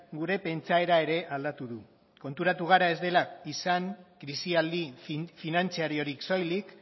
gure pentsaera ere aldatu du konturatu gara ez dela izan krisialdi finantzariorik soilik